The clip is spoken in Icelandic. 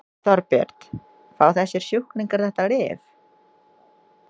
Þorbjörn: Fá þessir sjúklingar þetta lyf?